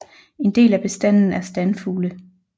En del af bestanden er standfugle